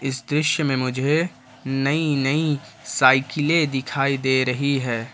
इस दृश्य में मुझे नई नई साइकिले दिखाई दे रही है ।